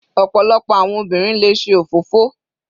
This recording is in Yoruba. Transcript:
Ọ̀pọ̀lọpọ̀ àwọn obìnrin le ṣe òfófó.